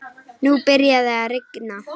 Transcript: Nú byrjaði að rigna.